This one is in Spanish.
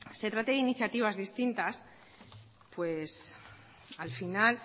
se trate de iniciativas distintas al final